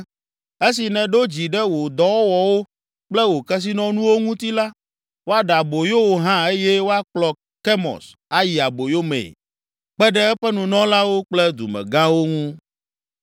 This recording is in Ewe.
Esi nèɖo dzi ɖe wò dɔwɔwɔwo kple wò kesinɔnuwo ŋuti ta la, woaɖe aboyo wò hã eye woakplɔ Kemos ayi aboyo mee, kpe ɖe eƒe nunɔlawo kple dumegãwo ŋu.